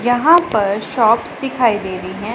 यहां पर शॉप्स दिखाई दे रही है।